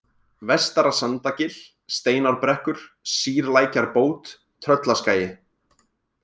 Vestara-Sandagil, Steinárbrekkur, Sýrlækjarbót, Tröllaskagi